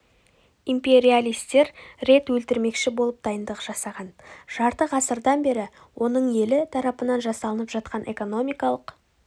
империалистер рет өлтірмекші болып дайындық жасаған жарты ғасырдан бері оның елі тарапынан жасалынып жатқан экономикалық